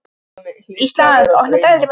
Ísdís, opnaðu dagatalið mitt.